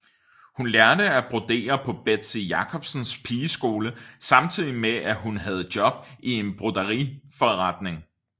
Hun lærte at brodere på Betzy Jacobsens pigeskole samtidig med at hun havde job i en broderiforretning